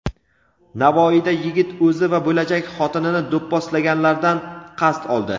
Navoiyda yigit o‘zi va bo‘lajak xotinini do‘pposlaganlardan qasd oldi.